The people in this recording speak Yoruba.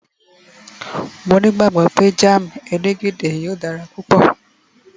mo ni igbagbọ pe jam elegede yíò dara púpò